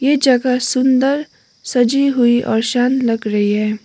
ये जगह सुंदर सजी हुई और शान लग रही है।